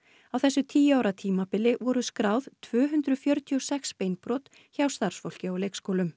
á þessu tíu ára tímabili voru skráð tvö hundruð fjörutíu og sex beinbrot hjá starfsfólki á leikskólum